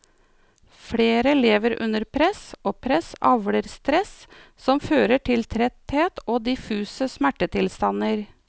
Flere lever under press, og press avler stress som fører til tretthet og diffuse smertetilstander.